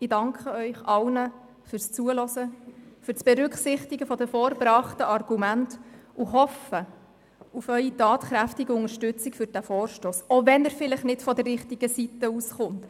Ich danke Ihnen allen fürs Zuhören, für die Berücksichtigung der vorgebrachten Argumente und hoffe auf Ihre tatkräftige Unterstützung für diesen Vorstoss, auch wenn er vielleicht nicht von der richtigen Seite herkommt.